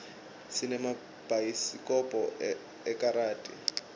sinemabhayisikobho ekaradi